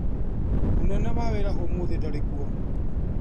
Mũnene wa wĩra ũmũthĩ ndarĩkwo.